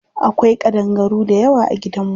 Akwai ƙadangaru dayawa a gidan mu.